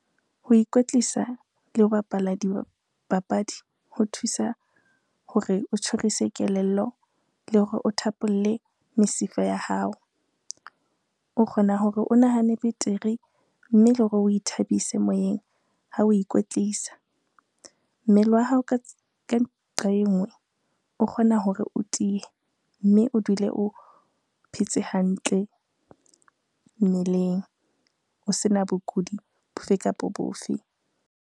Ho ikwetlisa le ho bapala dipapadi ho thusa hore o tjhorise kelello, le hore o thapolle mesifa ya hao. O kgona hore o nahane betere mme le hore o ithabise moyeng ha oe ikwetlisa. Mmele wa hao ka nqa e ngwe o kgona hore o tiye mme o dule o phetse hantle mmeleng, o sena bokudi bofe kapo bofe.